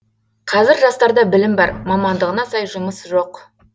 қазір жастарда білім бар мамандығына сай жұмыс жоқ